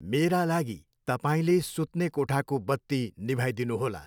मेरा लागि तपाईँले सुत्ने कोठाको बत्ती निभाइदिनु होला।